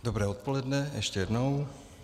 Dobré odpoledne ještě jednou.